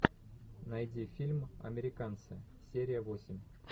найди фильм американцы серия восемь